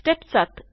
step 7